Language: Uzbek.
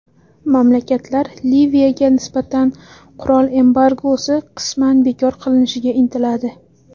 Mamlakatlar Liviyaga nisbatan qurol embargosi qisman bekor qilinishiga intiladi”.